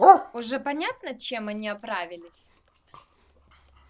уже понятно чем они оправились